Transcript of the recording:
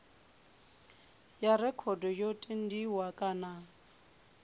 ya rekhodo yo tendiwa kana